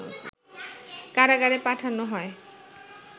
কারাগারে পাঠানো হয়